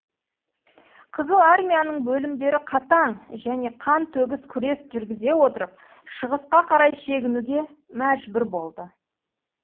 қызыл армияның бөлімдері қатаң және қан төгіс күрес жүргізе отырып шығысқа қарай шегінуге мәжбүр болды